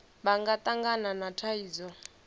vha nga tangana na thaidzo